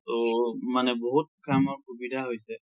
ত মানে বহুত কামৰ সুবিধা হৈছে।